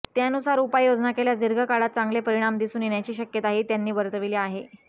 त्यानुसार उपाययोजना केल्यास दीर्घकाळात चांगले परिणाम दिसून येण्याची शक्यताही त्यांनी वर्तवली आहे